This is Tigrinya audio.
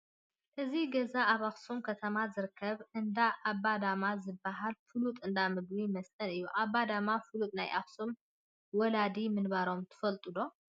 እዚ ገዛ ኣብ ኣኽሱም ከተማ ዝርከብ እንዳ ኣባ ዳማ ዝበሃል ፍሉጥ እንዳ ምግብን መስተን እዩ፡፡ ኣባ ዳማ ፍሉጥ ናይ ኣኽሱም ወላዲ ምንባሮም ትፈልጡ ዶ?